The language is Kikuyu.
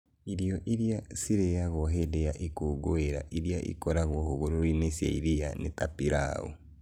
Irio iria ciaragio hĩndĩ ya ikũngũĩro iria ikoragwo hũgũrũrũ-inĩ cia iria nĩ ta Pilau.